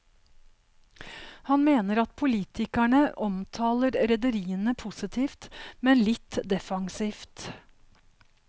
Han mener at politikerne omtaler rederiene positivt, men litt defensivt.